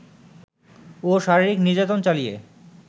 ও শারীরিক নির্যাতন চালিয়ে